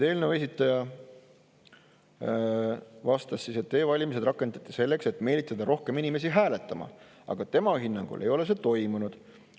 Eelnõu esitaja vastas, et e-valimised rakendati selleks, et meelitada rohkem inimesi hääletama, aga tema hinnangul ei ole seda toimunud.